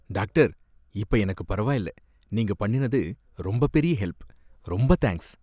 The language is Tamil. டாக்டர், இப்ப எனக்கு பரவாயில்ல. நீங்க பண்ணினது ரொம்ப பெரிய ஹெல்ப். ரொம்ப தேங்க்ஸ்.